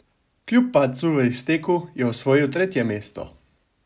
Kljub padcu v izteku je osvojil tretje mesto.